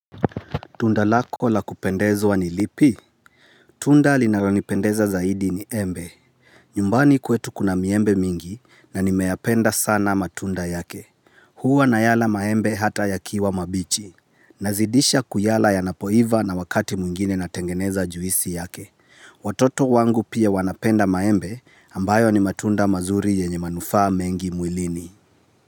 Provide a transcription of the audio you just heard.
Tunda lako lakupendezwa ni lipi? Tunda linaranipendeza zaidi ni embe. Nyumbani kwetu kuna miembe mingi na nimeapenda sana matunda yake. Huu nanayala maembe hata ya kiwa mabichi. Nazidisha kuyala ya napoiva na wakati mungine natengeneza juisi yake. Watoto wangu pia wanapenda maembe ambayo ni matunda mazuri yenye manufaa mengi muilini.